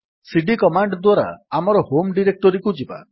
ସିଡି command ଦ୍ୱାରା ଆମର home ଡିରେକ୍ଟୋରୀକୁ ଯିବା